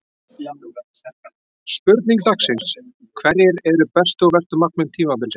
Spurning dagsins: Hverjir eru bestu og verstu markmenn tímabilsins?